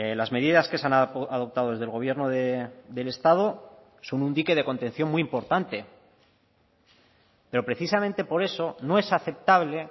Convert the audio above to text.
las medidas que se han adoptado desde el gobierno del estado son un dique de contención muy importante pero precisamente por eso no es aceptable